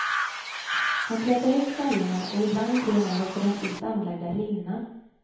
Han slätar ut färgerna och ibland till och med låter de sist anlagda rinna.